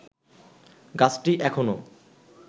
গাছটি এখনো